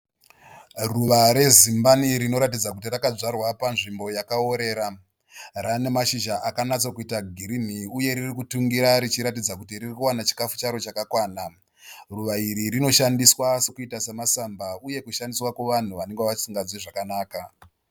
Ruva rezimbani rinoratidza kuti rakadzvarwa panzvimbo yakaorera. Rana mashizha akanyatsoita girinhi uyeriri kutungira richiratidza kuti riri kuwana chikafu charo chakakwana. Ruva iri rinoshandiswa sekuita semasamba uye kushandiswa kuvanhu vanenge vasinganzwe zvakanaka.